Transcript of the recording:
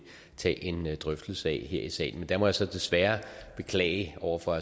tage en drøftelse af her i salen men der må jeg så desværre beklage over for